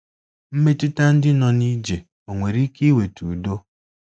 Mmetụta ndị nọ n'ije o nwere ike iweta udo?